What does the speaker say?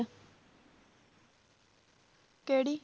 ਕਿਹੜੀ?